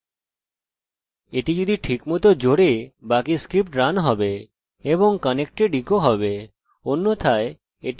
এটি যদি ঠিকভাবে জোড়ে বাকি স্ক্রিপ্ট রান হবে এবং connected ইকো হবে অন্যথায় এটি শুধু এই টেক্সট দেবে এবং বাকি পৃষ্ঠা রান করবে না